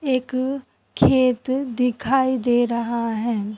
एक खेत दिखाई दे रहा है।